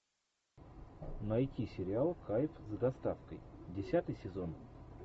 найти сериал кайф с доставкой десятый сезон